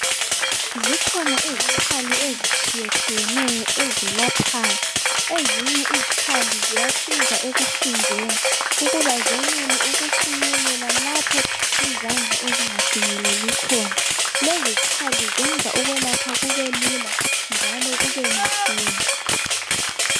Zikhona izkhali ezitshiyetshiyeneyo ezelaphayo. Ezinye izkhali ziyasiza ekuhlinzeni ukuba zenele ukufinyelela lapho izandla ezingafinyeleli khona. Lezi zkhali zenza ukwelapha kube lula njalo kube masinya.